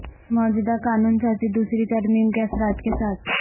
موجودہ قانون سازی دوسری ترمیم کے اثرات کے ساتھ